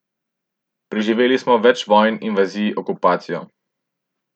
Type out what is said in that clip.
Preživeli smo več vojn, invazij, okupacijo.